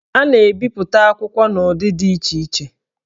A na-ebipụta akwụkwọ n'ụdị dị iche iche